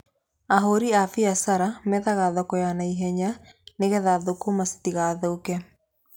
Ahori a biacara methaga thoko ya na ihenya nĩgetha thũkũma citigathũke.